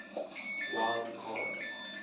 wild card